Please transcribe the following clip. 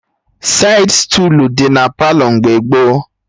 Saịd stuulu dị na Palọ mgbe gboo